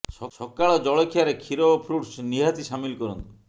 ସକାଳ ଜଳଖିଆରେ କ୍ଷୀର ଓ ଫ୍ରୁଟସ୍ ନିହାତି ସାମିଲ କରନ୍ତୁ